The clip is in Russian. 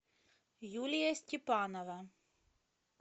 юлия степанова